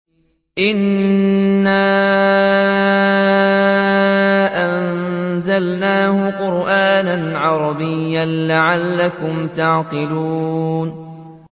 إِنَّا أَنزَلْنَاهُ قُرْآنًا عَرَبِيًّا لَّعَلَّكُمْ تَعْقِلُونَ